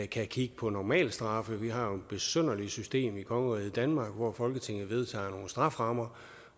kan kigge på normalstraffen vi har jo et besynderligt system i kongeriget danmark hvor folketinget vedtager nogle strafferammer